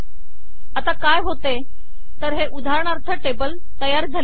आता काय होते तर हे उदाहरणार्थ टेबल तयार झाले आहे